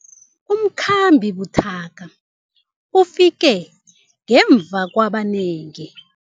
Umkhambi buthaka ufike ngemva kwabanengi.